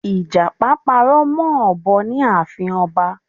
Ìjàpá parọ́ mọ́ òbọ ní ààfin ọba